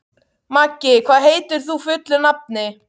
Maggi, hvað heitir þú fullu nafni?